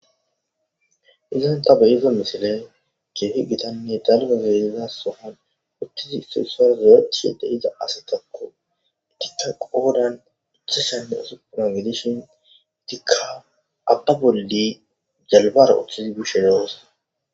Izanta beyeza misile keehi gitanne dalga zayliza sohon uttizi suussar zoechide iza ase takko itikka qoodan icha shenne usuppuna midishin itikka abba boldi jalbara uththizi bishe loos.